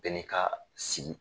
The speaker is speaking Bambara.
Bɛɛ n'i kaa sigi